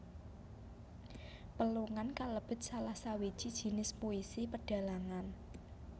Pelungan kalebet salah sawiji jinis puisi pedhalangan